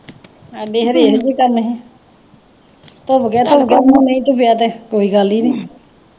ਹਾਡੇ ਇਹੋ ਧੁਪ ਗਿਆ ਧੁਪ ਗਿਆ ਨਹੀਂ ਧੁਪਿਆ ਤੇ ਕੋਈ ਗੱਲ ਈ ਨਹੀਂ।